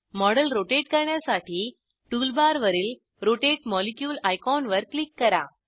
model rotate करण्यासाठी टूलबारवरील rotate molecule आयकॉनवर क्लिक करा